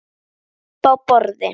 Uppi á borði?